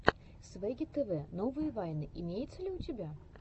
свегги тв новые вайны имеется ли у тебя